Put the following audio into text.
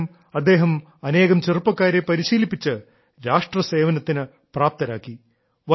പകരം അദ്ദേഹം അനേകം ചെറുപ്പക്കാരെ പരിശീലിപ്പിച്ച് രാഷ്ട്രസേവനത്തിനു പ്രാപ്തരാക്കി